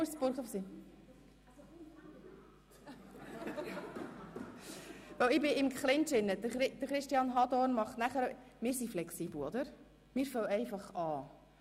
– Denn ich befinde mich im Clinch, aber wir sind flexibel und beginnen jetzt einfach.